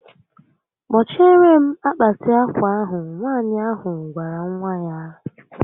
Kpochiere m akpati akwa ahụ Nwaànyị ahụ gwara nwa ya